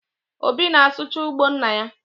Obi na-asụcha ugbo nna ya